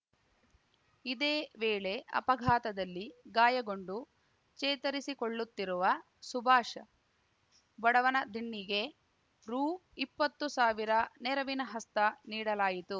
ಇದೇ ವೇಳೆ ಅಪಘಾತದಲ್ಲಿ ಗಾಯಗೊಂಡು ಚೇತರಿಸಿಕೊಳ್ಳುತ್ತಿರುವ ಸುಭಾಷ್‌ ಬಡವನದಿಣ್ಣೆಗೆ ರು ಇಪ್ಪತ್ತು ಸಾವಿರ ನೆರವಿನ ಹಸ್ತ ನೀಡಲಾಯಿತು